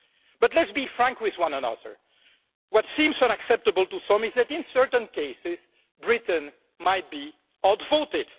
But let's be frank with one another what seems unacceptable to some is that, in certain cases, Britain might be outvoted.